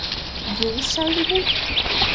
Jú sagði hún.